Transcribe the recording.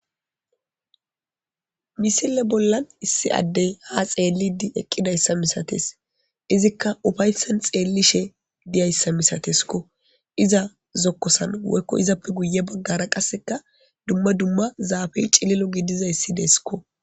misile bollan issi addey ha xeellidi eqqidayssa misates izikka ufayssan xeellishe diyayssa misateskko iza zokkosan woykko izappe guye baggara qasseka dumma dumma zaafey cililo gidizayssi deeskko